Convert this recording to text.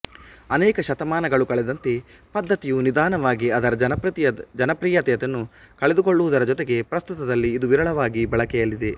ಅನೇಕ ಶತಮಾನಗಳು ಕಳೆದಂತೆ ಪದ್ಧತಿಯು ನಿಧಾನವಾಗಿ ಅದರ ಜನಪ್ರಿಯತೆಯನ್ನು ಕಳೆದುಕೊಳ್ಳುವುದರ ಜೊತೆಗೆ ಪ್ರಸ್ತುತದಲ್ಲಿ ಇದು ವಿರಳವಾಗಿ ಬಳಕೆಯಲ್ಲಿದೆ